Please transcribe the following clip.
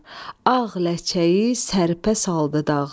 ağ ləçəyi sərpə saldı dağlar.